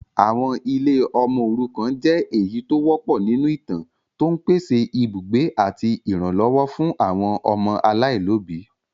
Àwọn ilé ọmọ òrukàn jẹ èyí tó wọpọ̀ nínú ìtàn, tó ń pèsè ibùgbé àti ìrànlọ́wọ́ fún àwọn ọmọ aláìlóbìí.